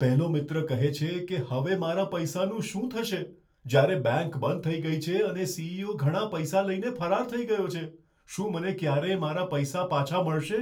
પહેલો મિત્ર કહે છે કે, હવે મારા પૈસાનું શું થશે, જ્યારે બેંક બંધ થઈ ગઈ છે અને સી.ઇ.ઓ. ઘણા પૈસા લઈને ફરાર થઈ ગયો છે? શું મને ક્યારેય મારા પૈસા પાછા મળશે?